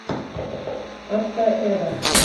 автоэра